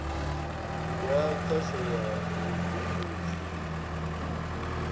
ya khasho ya vhubindudzi u